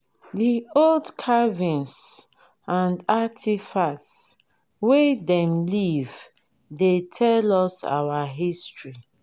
di old carvings and artifacts wey dem leave dey tell us our history.